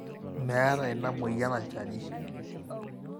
meeta ina mweyian olchani